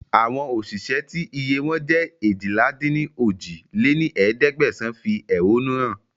Àwọn òṣìṣẹ́ tí iye wọn jẹ́ eéjìlá-dín-ní-ojì lé ní ẹ̀ẹ́dẹ́gbẹ́sán fi ehonu hàn